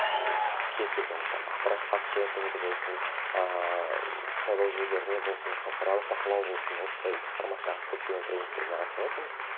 ммм кез келген там ақпараттық фактчекингі болсын ыыы сайлау жүйелеріне болсын халықаралық бақылау болсын осындай форматтағы көптеген тренинигтерге қатысып отырмыз